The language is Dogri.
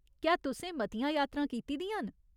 क्या तुसें मतियां यात्रां कीती दियां न ?